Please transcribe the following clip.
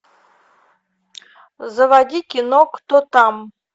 заводи кино кто там